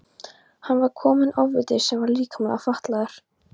Hér var kominn ofviti sem var líkamlega fatlaður.